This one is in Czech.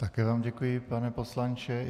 Také vám děkuji, pane poslanče.